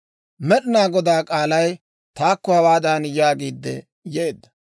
Med'inaa Godaa k'aalay taakko hawaadan yaagiidde yeedda;